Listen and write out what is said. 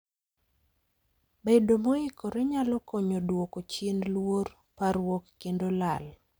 Bedo moikore nyalo konyo duoko chien luor, parruok kendo lal